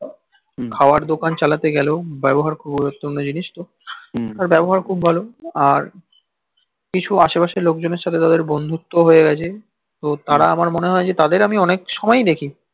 খাবার দোকান চালাতে গেল ব্যবহার জিনিস তো ব্যবহার খূব ভালো আর কিছু আশেপাশের লোকজনের সাথে যাদের বন্ধুত্ব হয়ে গেছে তাঁরা আমার মনে হয় যে তাদের আমি অনেক সময় দেখি